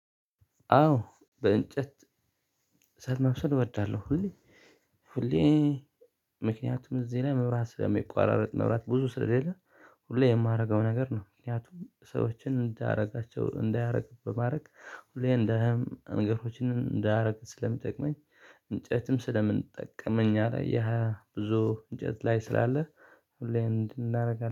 አዎ በእንጨት እሳት ማብሰል እወዳለሁኝ ሁሌ ምክንያቱም እዚህ ላይ መብራት ስለሚቆራረጥ መብራት ብዙ ስለሌለ ሁሌ የማደርገው ነገር ነው። ምክንያቱም ሰዎችን እንዳያረጋቸው እንዳያደርግ በማድረግ ሁሌ እንደም ነገሮችን እንዳደርግ ስለሚጠቅመኝ፥ እንጨትም ስለምንጠቀም እኛ ላያ ያ ብዙ እንጨት ላይ ስላለ ሁሌም እንዲህ እናደርጋለን።